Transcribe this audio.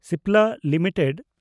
Cipla limited